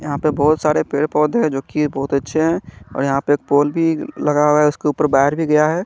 यहाँ पे बहोत सारे पेड़ पौधे है जो की बहोत अच्छे है और यहाँ पे पोल भी लगा हुआ है जिस पर बैठ भी गया है।